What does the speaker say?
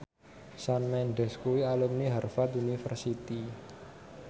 Shawn Mendes kuwi alumni Harvard university